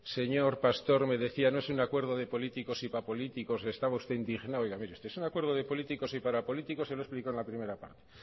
señor pastor me decía no es un acuerdo de políticos y para políticos que estaba usted indignado oiga mire usted es un acuerdo de políticos y para políticos y se lo he explicado en la primera parte